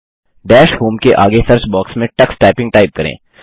dash home के आगे search box में टक्स टाइपिंग टाइप करें